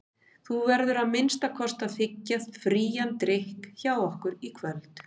Þú verður að minnsta kosti að þiggja frían drykk hjá okkur í kvöld.